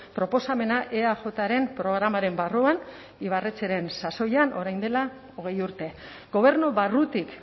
proposamena eajren programaren barruan ibarretxeren sasoian orain dela hogei urte gobernu barrutik